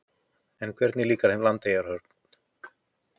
En hvernig líkar þeim við Landeyjahöfn?